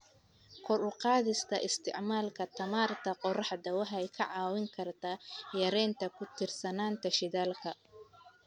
Kor u qaadista isticmaalka tamarta qoraxda waxay ka caawin kartaa yareynta ku tiirsanaanta shidaalka.